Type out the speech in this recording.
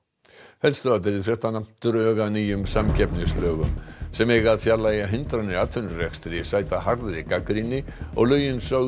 drög að nýjum samkeppnislögum sem eiga að fjarlægja hindranir í atvinnurekstri sæta harðri gagnrýni og lögin sögð